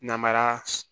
Namara